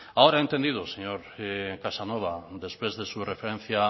ahora he entendido señor casanova después de su referencia